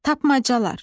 Tapmacalar.